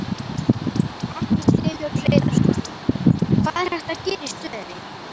Magnús Hlynur Hreiðarsson: Hvað er hægt að gera í stöðunni?